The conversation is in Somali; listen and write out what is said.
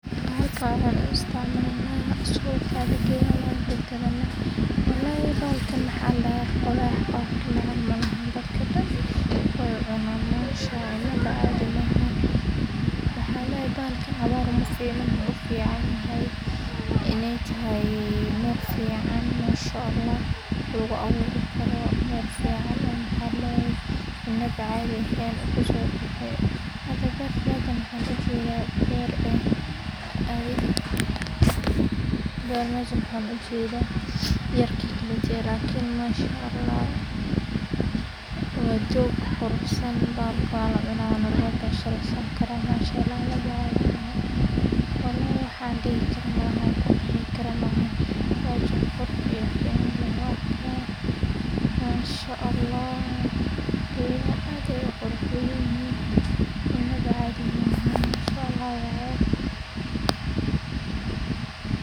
Halkan waxaan ku isticmalanah, suqad aya gaynah wan kagadanah, walhi balahan maxaa ladaha dadka dan way cunan inba cadii mahan waxaan layahay balahan hawar mafico wuxu ufican yahay, inay tahay, mal fiacan mashallah lagu awuroh waa mal fican waxan lahay inaba cadii mahan masha hada baritan waa bar masha waxaan ujadah, wxa yar ina mashallah oo jog quruxsan mar ma laa cuna mashallah inaba cadii mahaan waxaan dihijirani gor ina quruxdi lahad mashallah, gada dan way qoyan yihin inaba cadii mahan mashallah.